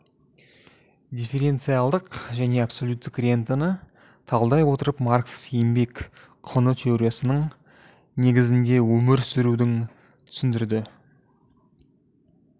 дифференциалдық және абсолюттік рентаны талдай отырып маркс еңбек құны теориясының негізінде өмір сүруін түсіндірді